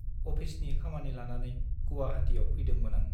अफिसनि खामानि लानानै गुवाहाटीयाव फैदोंमोन आं ।